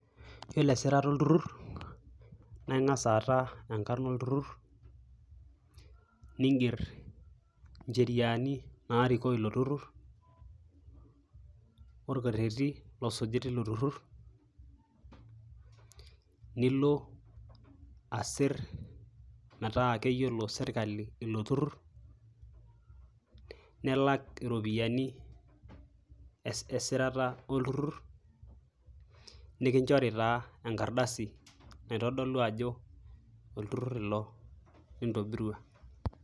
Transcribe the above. Yioloesirata oltururr naa ingas aata enkarna olturur, ninger incheriani naariko ilo tururr , orkereti losuji tilo turur, nilo asir metaa keyiolo sirkali ilo turur, nilak iropiyiani esirata olturur , ninchori taa enkardasi naitodolu ajo olturur ilo lintobirua.